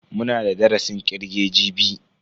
Muna da darasin kirge jibi.